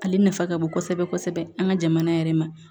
Ale nafa ka bon kosɛbɛ kosɛbɛ an ka jamana yɛrɛ ma